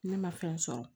Ne ma fɛn sɔrɔ